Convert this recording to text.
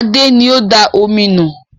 Adé ni ó da omi nù